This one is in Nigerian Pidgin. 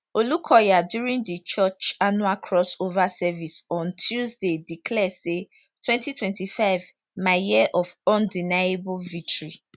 olukoya during di church annual cross over service on tuesday declare say 2025 my year of undeniable victory